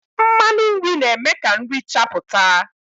Mmanụ nri na-eme ka nri chapụta.